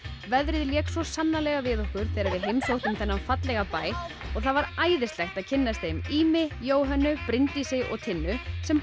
veðrið lék svo sannarlega við okkur þegar við heimsóttum þennan fallega bæ og það var æðislegt að kynnast þeim Ými Jóhönnu Bryndísi og Tinnu sem